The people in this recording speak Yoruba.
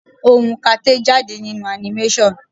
Ohùn kate jáde nínú animation.